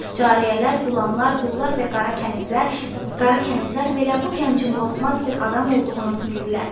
Cariyələr, qullananlar, qullar və qara kənizlər belə bu gəncin qorxmaz bir adam olduğunu bildilər.